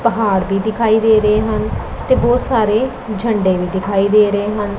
ਪਹਾੜ ਵੀ ਦਿਖਾਈ ਦੇ ਰਹੇ ਹਨ ਤੇ ਬਹੁਤ ਸਾਰੇ ਝੰਡੇ ਵੀ ਦਿਖਾਈ ਦੇ ਰਹੇ ਹਨ।